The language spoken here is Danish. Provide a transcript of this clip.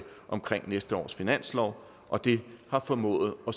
næste års finanslov og det har formået at